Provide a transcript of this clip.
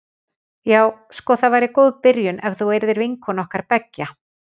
Já sko það væri góð byrjun ef þú yrðir vinkona okkar beggja.